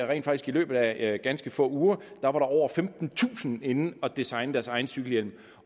rent faktisk i løbet af ganske få uger over femtentusind inde at designe deres egen cykelhjelm